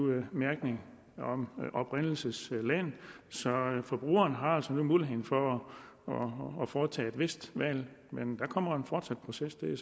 mærkning med oprindelsesland så forbrugerne har altså nu mulighed for at foretage et vist valg men der kommer en fortsat proces det